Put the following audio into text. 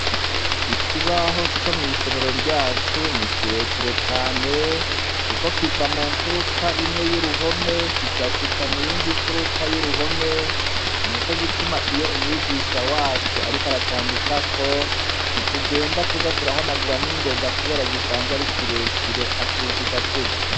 Ikibaho co mw'isomero ryacu ni ikirekire cane, kuko kiva mu mfuruka imwe y'uruhome kigashika mu yindi mfuruka y'uruhome ni na co gituma iyo umwigisha wacu, ariko aracandikako ntitugenda kuza turahanagura n'ingoga, kubera gisanzwa arikirekire acuzuza atevye.